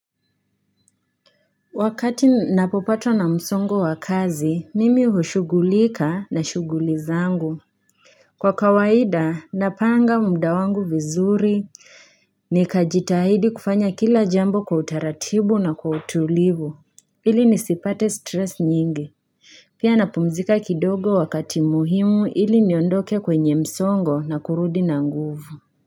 Wakati napopata na msongo wa kazi, mimi hushugulika na shuguli zangu. Kwa kawaida, napanga muda wangu vizuri ni kajitahidi kufanya kila jambo kwa utaratibu na kwa utulivu. Ili nisipate stress nyingi. Pia napumzika kidogo wakati muhimu ili niondoke kwenye msongo na kurudi na nguvu.